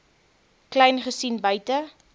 kleyn gesien buite